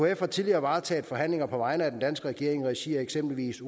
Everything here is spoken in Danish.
ekf har tidligere varetaget forhandlinger på vegne af den danske regering i regi af eksempelvis